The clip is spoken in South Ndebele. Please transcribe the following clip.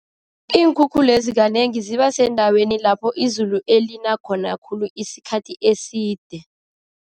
Iinkhukhulezi kanengi zibasendaweni lapho izulu elina khona khulu isikhathi eside.